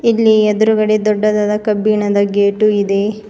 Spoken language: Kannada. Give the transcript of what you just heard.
ಇಲ್ಲಿ ಎದ್ರುಗಡೆ ದೊಡ್ಡದಾದ ಕಬ್ಬಿಣದ ಗೇಟು ಇದೆ.